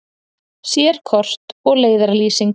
Sérkort og leiðarlýsing.